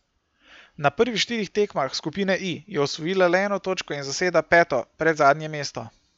Na prvih štirih tekmah skupine I je osvojila le eno točko in zaseda peto, predzadnje mesto.